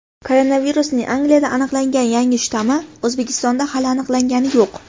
Koronavirusning Angliyada aniqlangan yangi shtammi O‘zbekistonda hali aniqlangani yo‘q.